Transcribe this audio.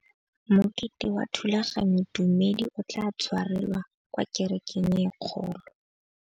Mokete wa thulaganyôtumêdi o tla tshwarelwa kwa kerekeng e kgolo.